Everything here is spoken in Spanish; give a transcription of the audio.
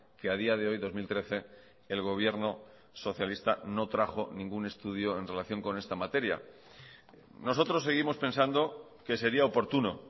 que a día de hoy dos mil trece el gobierno socialista no trajo ningún estudio en relación con esta materia nosotros seguimos pensando que sería oportuno